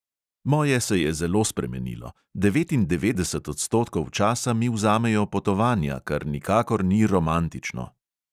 Moje se je zelo spremenilo: devetindevetdeset odstotkov časa mi vzamejo potovanja, kar nikakor ni romantično.